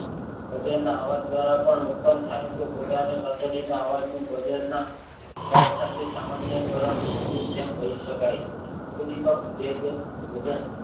ભજનમાં અવાજ દ્વારા પણ ઉત્પન્ન થાય છે કૂતરાની ઘંટડી ના આવજનુ બજરના થવા સ્વાદે સામાન્ય કારણ કર્યું તેમ કહી સદાકાય ઉદ્વિપક